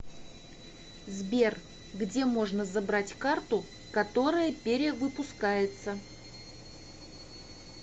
сбер где можно забрать карту которая перри выпускается